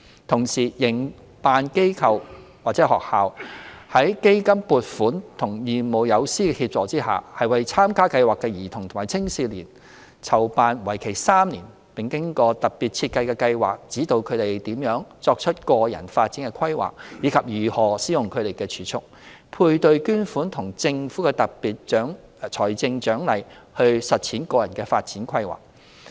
同時，營辦機構/學校在基金撥款和義務友師協助下，為參加計劃的兒童和青少年籌辦為期3年並經過特別設計的計劃，指導他們如何作出個人發展規劃，以及如何使用他們的儲蓄、配對捐款和政府的特別財政獎勵來實踐個人發展規劃。